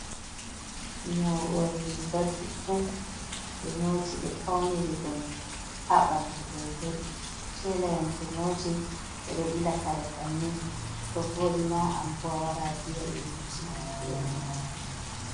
Nyogol riga juddum. Be nyoti be fauniri dum ha bandu. goigoi. telayan to nyoti be do bila kare bannen, to vodi ma ambo awara aviya be nyotina ma irin mai.